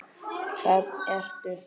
Það ertu.